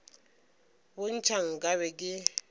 bo ntšha nka be ke